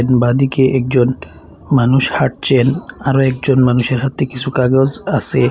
বাঁদিকে একজন মানুষ হাঁটছেন আরো একজন মানুষের হাতে কিছু কাগজ আসে।